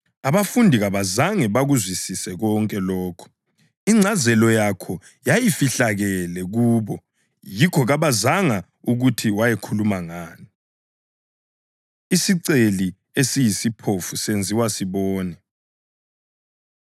Abafundi kabazange bakuzwisise konke lokhu. Ingcazelo yakho yayifihlakele kubo yikho kabazanga ukuthi wayekhuluma ngani. Isiceli Esiyisiphofu Senziwa Sibone